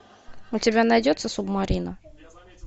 у тебя найдется субмарина